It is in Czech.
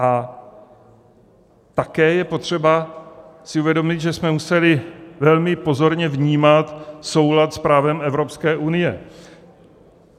A také je potřeba si uvědomit, že jsme museli velmi pozorně vnímat soulad s právem Evropské unie.